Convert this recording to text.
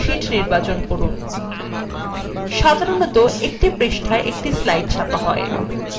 সেজন্য pages per sheet নির্বাচন করুন সাধারনতঃ একটি পৃষ্ঠায় একটি slide ছাপা হয়